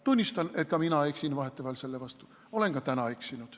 Tunnistan, et ka mina eksin vahetevahel selle vastu, olen ka täna eksinud.